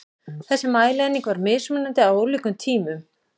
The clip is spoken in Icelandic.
Þessi mælieining var mismunandi á ólíkum tímum.